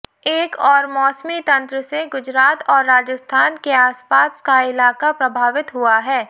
एक और मौसमी तंत्र से गुजरात और राजस्थान के आसपास का इलाका प्रभावित हुआ है